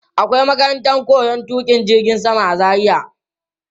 Akwai makarantar koyon tuƙa jirgin sama a Zaria.